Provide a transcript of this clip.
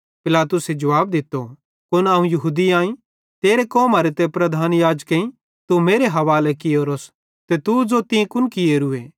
पिलातुसे जुवाब दित्तो कुन अवं यहूदी आईं तेरी कौमरे ते प्रधान याजकेईं तू मेरे हवाले कियोरोस तू ज़ो तीं कुन कियोरूए